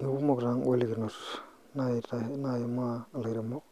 Aikumok taa ingolikinot naimaa ilairemok